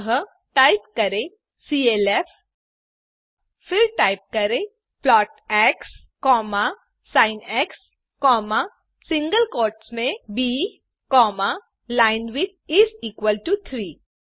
अतः टाइप करें सीएलएफ फिर टाइप करें plot x sin single quotes में ब लाइनविड्थ इस इक्वल टो 3